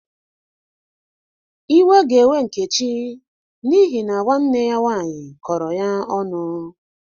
Iwe ga-ewe Nkechi n'ihi na nwanne ya nwaanyị kọrọ ya onụ.